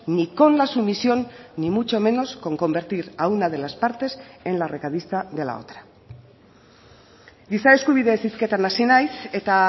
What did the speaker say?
ni con la sumisión ni mucho menos con convertir a una de las partes en la recadista de la otra giza eskubideez hizketan hasi naiz eta